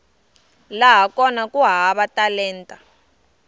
laha kona ku hava talenta